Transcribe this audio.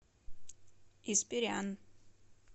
испирян